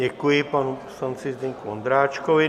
Děkuji panu poslanci Zdeňku Ondráčkovi.